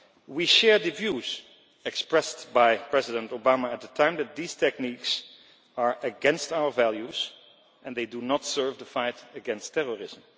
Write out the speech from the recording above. We share the views expressed by President Obama at the time that these techniques are against our values and they do not serve the fight against terrorism.